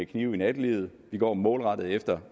knive i nattelivet vi går målrettet efter